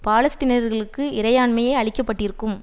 பாலஸ்தீனியர்களுக்கு இறையாண்மை அளிக்கப்பட்டிருக்கும்